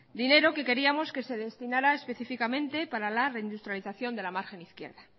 dinero que queríamos que se destinará específicamente para la reindustrialización de la margen izquierda